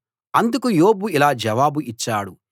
అందుకు యోబు ఇలా జవాబు ఇచ్చాడు